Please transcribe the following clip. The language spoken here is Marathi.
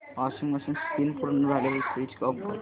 वॉशिंग मशीन स्पिन पूर्ण झाल्यावर स्विच ऑफ कर